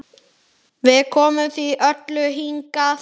Við komum því öllu hingað.